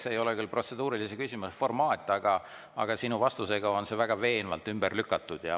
See ei ole küll protseduurilise küsimuse formaat, aga sinu vastusega on see väga veenvalt ümber lükatud.